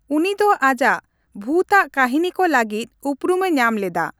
ᱩᱱᱤ ᱫᱚ ᱟᱡᱟᱜ ᱵᱷᱩᱛᱼᱟᱜ ᱠᱟᱹᱦᱤᱱᱤ ᱠᱚ ᱞᱟᱹᱜᱤᱫ ᱩᱯᱨᱩᱢᱮ ᱧᱟᱢ ᱞᱮᱫᱟ ᱾